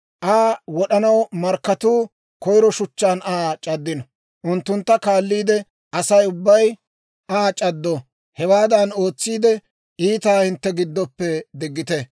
Aa wod'anaw markkatuu koyiro shuchchaan Aa c'addino; unttuntta kaalliide Asay ubbay Aa c'addo. Hewaadan ootsiide, iitaa hintte giddoppe diggite.